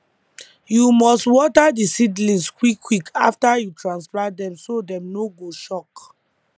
you must water di seedlings quick quick after you transplant dem so dem no go shock